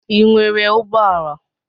Ị nwere ụgbọala?